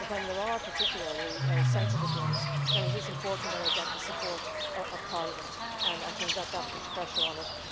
But when there are particularly sensitive ones, then it is important that I get the support of Parliament, and I think that that puts pressure on it.